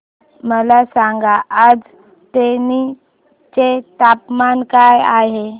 मला सांगा आज तेनी चे तापमान काय आहे